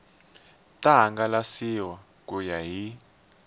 ta hangalasiwa ku ya hi